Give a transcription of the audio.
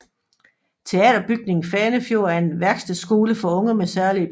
Teaterbygningen Fanefjord er en værkstedskole for unge med særlige behov